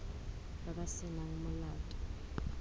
ba ba se nang molato